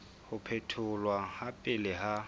ho phetholwa ha pele ha